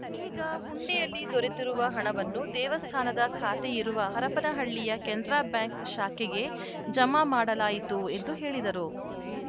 ಈಗ ಹುಂಡಿಯಲ್ಲಿ ದೊರೆತಿರುವ ಹಣವನ್ನು ದೇವಸ್ಥಾನದ ಖಾತೆಯಿರುವ ಹರಪನಹಳ್ಳಿಯ ಕೆನರಾ ಬ್ಯಾಂಕ್‌ ಶಾಖೆಗೆ ಜಮಾ ಮಾಡಲಾಯಿತು ಎಂದು ಹೇಳಿದರು